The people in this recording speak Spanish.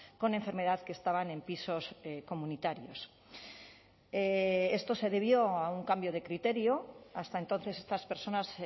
con enfermedad que estaban en pisos comunitarios esto se debió a un cambio de criterio hasta entonces estas personas